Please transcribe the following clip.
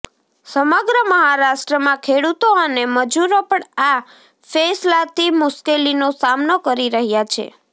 સમગ્ર મહારાષ્ટ્રમાં ખેડુતો અને મજુરો પણ આ ફેંસલાથી મુશ્કેલીનો સામનો કરી રહ્યા છે